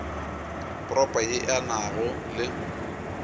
propo ye e nago le